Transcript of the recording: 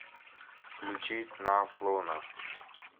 включи с н а ф ф лоуна